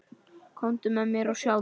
Komdu með mér og sjáðu.